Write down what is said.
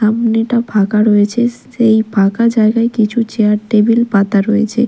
সামনেটা ফাঁকা রয়েছে সেই ফাঁকা জায়গায় কিছু চেয়ার টেবিল পাতা রয়েছে।